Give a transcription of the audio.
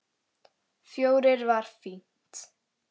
Fjórir var fínt.